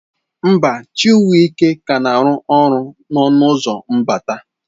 Mba, Chiwuike ka na-arụ ọrụ n'ọnụ ụzọ mbata.